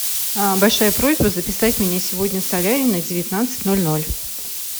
большая просьба записать меня сегодня в солярий на девятнадцать ноль ноль